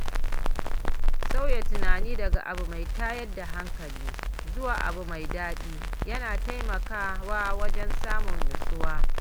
Sauya tunani daga abu mai tayar da hankali zuwa abu mai daɗi yana taimakawa wajen samun nutsuwa.